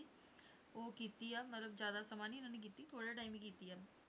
ਉਹ ਕੀਤੀ ਆ, ਮਤਲਬ ਜ਼ਿਆਦਾ ਸਮਾਂ ਨੀ ਇਹਨਾਂ ਨੇ ਕੀਤੀ ਥੋੜ੍ਹੇ time ਹੀ ਕੀਤੀ ਆ।